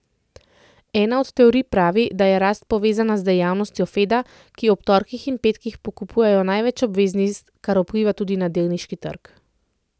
Ena od teorij pravi, da je rast povezana z dejavnostjo Feda, ki ob torkih in petkih pokupijo največ obveznic, kar vpliva tudi na delniški trg.